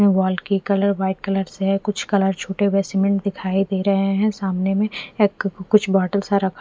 दीवाल की colour white colour से है कुछ कलर छूटे हुए सीमेंट दिखाई दे रहे है सामने में एक कुछ बोतल सा--